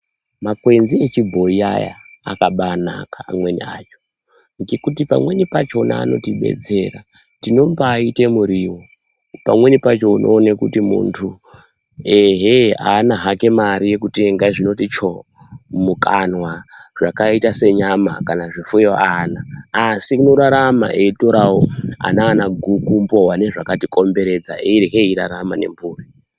Makwenzi echibhoyi aya akabanaka amweni acho, ngekuti pamweni pachona anotibetsera. Tinombaite muriwo. Pamweni pacho unoone kuti muntu ehee haana hake mari yekutenga zvinoti choo mumukanwa zvakaita senyama kana zvifuyo haana, asi unorarama eyitorawo ananaguku, mbowa nezvakatikomberedza, eirye eyirarama nemburi.